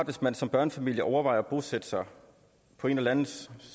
hvis man som børnefamilie overvejer at bosætte sig på en eller anden